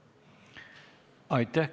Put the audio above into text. Aitäh!